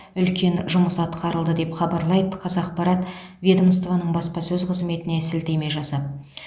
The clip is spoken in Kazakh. үлкен жұмыс атқарылды деп хабарлайды қазақпарат ведомствоның баспасөз қызметіне сілтеме жасап